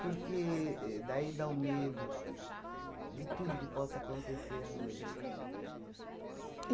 Porque e daí dá o medo de tudo que possa acontecer à noite.